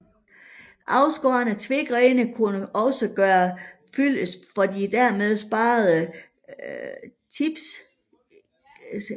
Afskårne tvegrene kunne også gøre fyldest for de dermed sparede tipistænger